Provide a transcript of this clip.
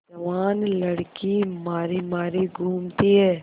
जवान लड़की मारी मारी घूमती है